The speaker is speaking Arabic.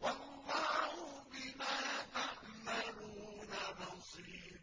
وَاللَّهُ بِمَا تَعْمَلُونَ بَصِيرٌ